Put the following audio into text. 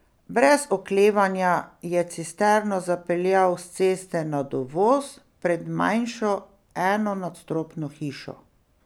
Brez oklevanja je cisterno zapeljal s ceste na dovoz pred manjšo, enonadstropno hišo.